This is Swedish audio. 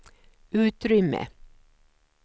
utrymme